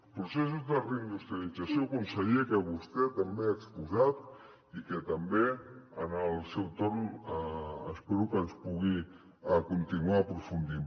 processos de reindustrialització conseller que vostè també ha exposat i que també en el seu torn espero que hi pugui continuar aprofundint